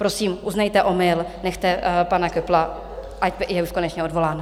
Prosím, uznejte omyl, nechte pana Köppla, ať je už konečně odvolán.